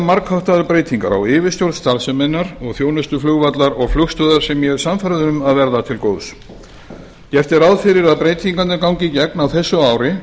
margháttaðar breytingar á yfirstjórn starfseminnar og þjónustu flugvallar og flugstöðvar sem ég er sannfærður um að verða til góðs gert er ráð fyrir að breytingarnar gangi í gegn á þessu ári